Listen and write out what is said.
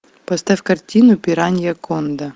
поставь картину пираньяконда